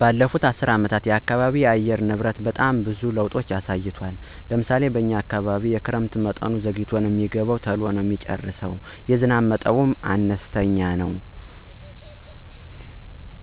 በለፉት አሰር አመታት የአካባቢ አየር ንብረት በጣም ብዙዎች ለውጦች አሳይቷል። ለምሳሌ እንደ ዝናብ አይነት ክረምቱ ተሎ አይገባም ቆይቶ ማለትም ዝናብ የሚዝንበው ሰኔ አጋማሽ ላይነው እንደዛዚያም ሆኖ ተሎ ነው የሚቆመው ነላይ ግማሽ ላይ የዝናብ መጠኑም አነስተኛ ነው እንደየ አካባቢው ይለያያል